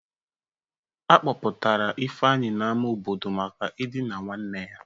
A kpụpụtara Ifeanyị n'ama obodo maka idina nwanne ya.